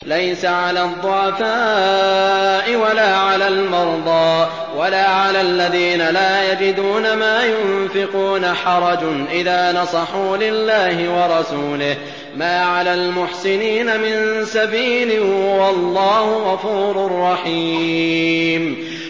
لَّيْسَ عَلَى الضُّعَفَاءِ وَلَا عَلَى الْمَرْضَىٰ وَلَا عَلَى الَّذِينَ لَا يَجِدُونَ مَا يُنفِقُونَ حَرَجٌ إِذَا نَصَحُوا لِلَّهِ وَرَسُولِهِ ۚ مَا عَلَى الْمُحْسِنِينَ مِن سَبِيلٍ ۚ وَاللَّهُ غَفُورٌ رَّحِيمٌ